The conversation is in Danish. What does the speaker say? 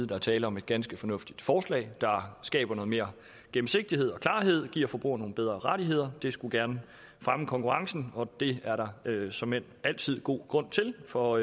der er tale om et ganske fornuftigt forslag der skaber noget mere gennemsigtighed og klarhed og giver forbrugerne nogle bedre rettigheder det skulle gerne fremme konkurrencen og det er der såmænd altid god grund til for